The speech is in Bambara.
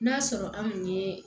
N'a sɔrɔ anw ye